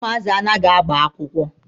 Ụmụazị anaghị agba akwụkwọ.